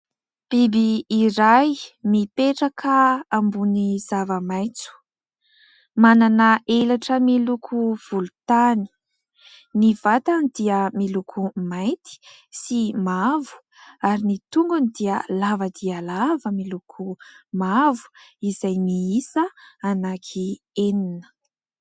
Biby iray mipetraka ambony zavamaitso, manana elatra miloko volontany. Ny vatany dia miloko mainty sy mavo ary ny tongony dia lava dia lava miloko mavo izay miisa anankienina.